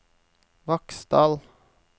Vaksdal